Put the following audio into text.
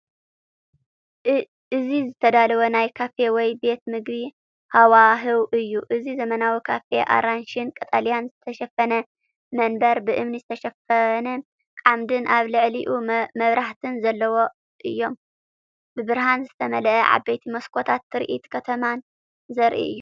እዚ ዝተዳለወ ናይ ካፌ ወይ ቤት ምግቢ ሃዋህው እዩ። እዚ ዘመናዊ ካፌ፣ ኣራንሺን ቀጠልያን ዝተሸፈነ መንበር፣ ብእምኒ ዝተሸፈነ ዓምድን ኣብ ልዕሊኡ መብራህትን ዘለዎ እዮም። ብብርሃን ዝተመልአ ዓበይቲ መስኮታትን ትርኢት ከተማን ዘርኢ እዩ ።